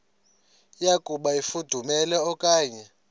yokuba ifudumele okanye